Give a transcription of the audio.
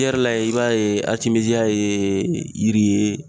I yɛrɛ la yen i b'a ye aritimeziya yee yiri ye